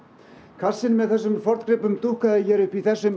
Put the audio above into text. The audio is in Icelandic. kassinn með þessum forngripum dúkkaði hér upp í þessum